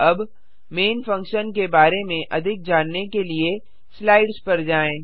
अब main function के बारे में अधिक जानने के लिए स्लाइड्स पर जाएँ